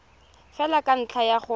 fela ka ntlha ya go